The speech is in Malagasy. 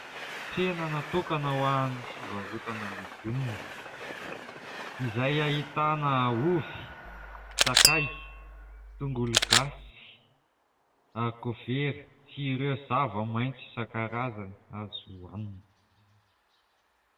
Tsena natokana ho an'ny fivarotana legioma izay ahitana : ovy, sakay, tongologasy, harikovera sy ireo zava-maitso isan-karazany azo hohanina.